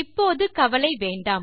இப்போது கவலை வேண்டாம்